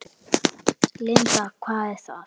Linda: Hvað er það?